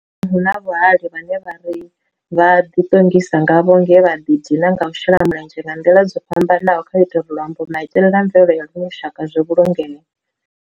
hu na vhahali vhane ra di tongisa ngavho nge vha di dina nga u shela mulenzhe nga nḓila dzo fhambananaho khau ita uri luambo, maitele na mvelele ya luno lushaka zwi vhulungee.